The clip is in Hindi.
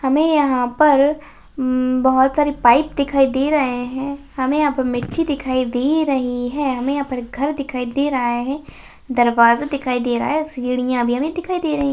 हमें यहां पर उम्म बहुत सारी पाइप दिखाई दे रहे हैं हमें यहां पर मिट्टी दिखाई दे रही है हमें यहां पर एक घर दिखाई दे रहा है दरवाजा दिखाई दे रहा है सीढ़ियां अभी हमें दिखाई दे रही --